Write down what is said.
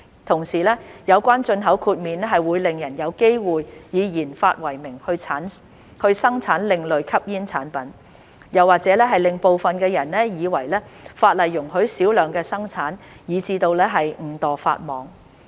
同時，有關進口豁免會令人有機會以研發為名生產另類吸煙產品，又或者令部分人以為法例容許小量生產，以致誤墮法網。